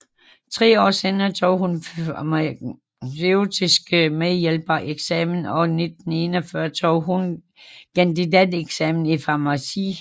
Tre år senere tog hun farmaceutisk medhjælper eksamen og 1941 tog hun kandidateksamen i farmaci